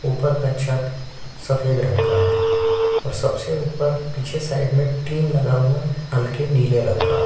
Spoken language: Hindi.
ऊपर का छत सफ़ेद रंग का है और सब से ऊपर टिन लगा हुआ है हल्के नीले रंग का।